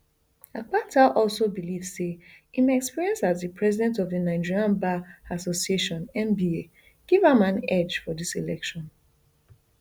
akpata also believe say im experience as di president of di nigerian bar association nba give am an edge for dis election